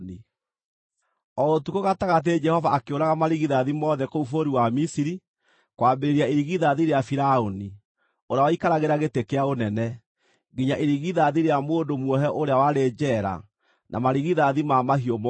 O ũtukũ gatagatĩ Jehova akĩũraga marigithathi mothe kũu bũrũri wa Misiri, kwambĩrĩria irigithathi rĩa Firaũni, ũrĩa waikaragĩra gĩtĩ kĩa ũnene, nginya irigithathi rĩa mũndũ muohe ũrĩa warĩ njeera na marigithathi ma mahiũ mothe.